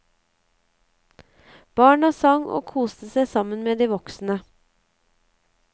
Barna sang og koste seg sammen med de voksne.